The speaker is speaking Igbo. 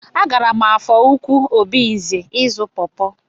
A gaara m Afọ Ukwu Obinze ịzụ pọpọ.